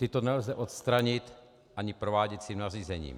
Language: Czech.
Ta nelze odstranit ani prováděcím nařízením.